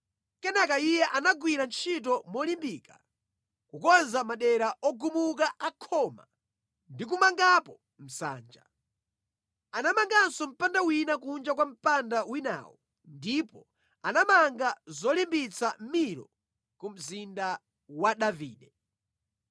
Kenaka iye anagwira ntchito molimbika kukonza madera ogumuka a khoma ndi kumangapo msanja. Anamanganso mpanda wina kunja kwa mpanda winawo ndipo anamanga zolimbitsa Milo ku mzinda wa Davide.